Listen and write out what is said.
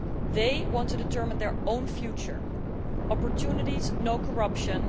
They want to determine their own future opportunities, no corruption.